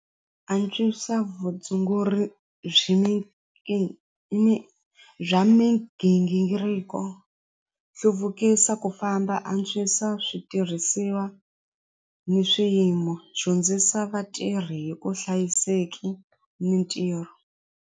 Antswisa vutshunguri byi bya migingiriko hluvukisa ku famba antswisa switirhisiwa ni swiyimo dyondzisa vatirhi hi ku hlayiseki mintirho.